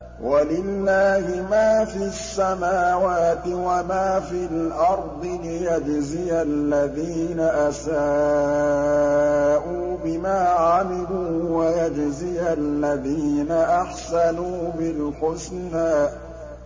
وَلِلَّهِ مَا فِي السَّمَاوَاتِ وَمَا فِي الْأَرْضِ لِيَجْزِيَ الَّذِينَ أَسَاءُوا بِمَا عَمِلُوا وَيَجْزِيَ الَّذِينَ أَحْسَنُوا بِالْحُسْنَى